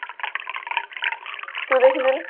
ତୁ ଦେଖୁଚୁ ନାଁ